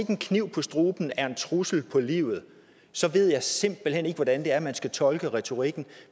en kniv for struben er en trussel på livet så ved jeg simpelt hen ikke hvordan man skal tolke retorikken